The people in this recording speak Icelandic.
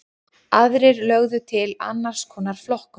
Aðrir lögðu til annars konar flokkun.